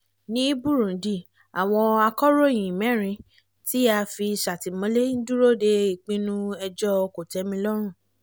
ní burundi àwọn akòròyìn mẹ́rin tí a fi sátìmọ́lé ń dúró de ìpinnu ẹjọ́ kòtẹ́milọ́rùn